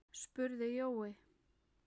spurði Jói.